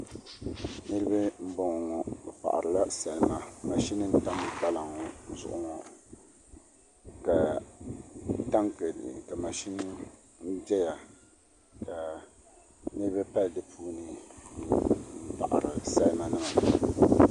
Niraba n ʒɛya ŋo bi paɣarila salima mashin n tam kpalaŋ ŋo zuɣu ŋo ka mashin ʒɛya ka niraba pali di puuni n paɣari salima nima